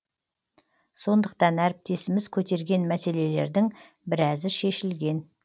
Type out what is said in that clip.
сондықтан әріптесіміз көтерген мәселелердің біразы шешілген